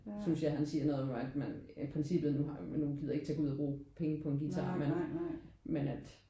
Synes jeg han siger noget om at man i princippet nu men nu gider jeg ikke gå ud og bruge penge på en guitar men men at